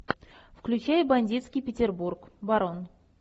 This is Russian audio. включай бандитский петербург барон